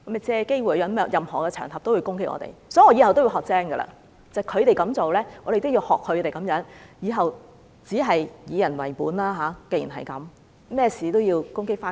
所以，從此以後我會學乖一點，既然他們這樣做，我們也要學他們這樣，以後只是"以人為本"，無論何事都攻擊他們。